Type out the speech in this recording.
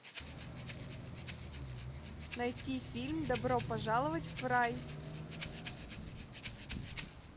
найти фильм добро пожаловать в рай